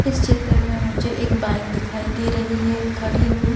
इस चित्र में मुझे एक बाइक दिखाई दे रही है खड़ी हुई।